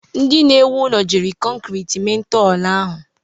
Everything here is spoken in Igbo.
Ndị na-ewu ụlọ jiri kọnkriiti mee ntọala ahu.